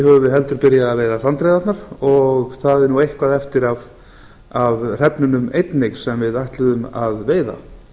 höfum við heldur byrjað að veiða sandreyðarnar og það er eitthvað eftir af hrefnunum einnig sem við ætluðum að veiða